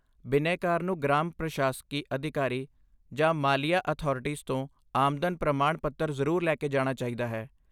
ਬਿਨੈਕਾਰ ਨੂੰ ਗ੍ਰਾਮ ਪ੍ਰਸ਼ਾਸਕੀ ਅਧਿਕਾਰੀ ਜਾਂ ਮਾਲੀਆ ਅਥਾਰਟੀਜ਼ ਤੋਂ ਆਮਦਨ ਪ੍ਰਮਾਣ ਪੱਤਰ ਜ਼ਰੂਰ ਲੈ ਕੇ ਜਾਣਾ ਚਾਹੀਦਾ ਹੈ।